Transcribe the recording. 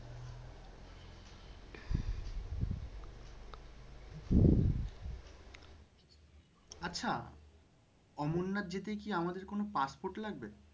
আচ্ছা অমরনাথ যেতে কি আমাদের কোনো পাসপোর্ট লাগবে?